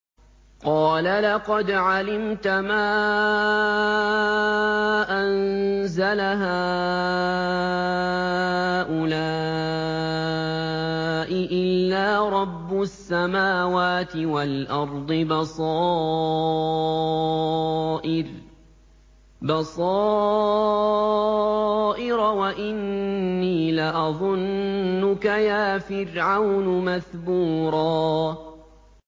قَالَ لَقَدْ عَلِمْتَ مَا أَنزَلَ هَٰؤُلَاءِ إِلَّا رَبُّ السَّمَاوَاتِ وَالْأَرْضِ بَصَائِرَ وَإِنِّي لَأَظُنُّكَ يَا فِرْعَوْنُ مَثْبُورًا